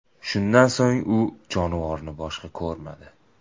Shundan so‘ng u jonivorni boshqa ko‘rmadi.